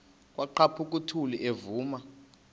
kwaqhaphuk uthuli evuma